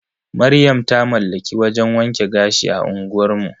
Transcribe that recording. Maryam ta mallaki wajan wanke gashi a unguwar mu.